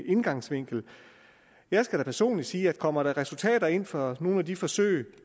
indgangsvinkel jeg skal da personligt sige at kommer der resultater ind fra nogle af de forsøg